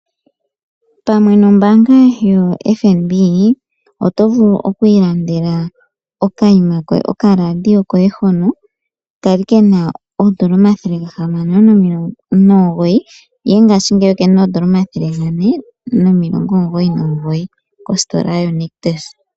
Pamwe nombaanga yoFNB oto vulu okwiilandela okaradio koye hono kali kena oondola dhaNamibia 609 ihe ngaashingeyi okena oondola 499.